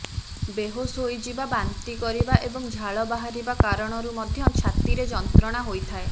ବେହୋସ୍ ହୋଇଯିବା ବାନ୍ତି କରିବା ଏବଂ ଝାଳ ବାହାରିବା କାରଣରୁ ମଧ୍ୟ ଛାତିରେ ଯନ୍ତ୍ରଣା ହୋଇଥାଏ